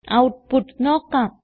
output നോക്കാം